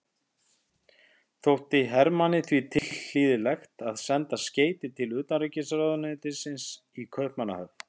Þótti Hermanni því tilhlýðilegt að senda skeyti til utanríkisráðuneytisins í Kaupmannahöfn.